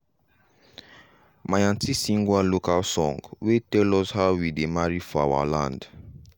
my auntie sing one local song wey tell us how we dey marry for our land.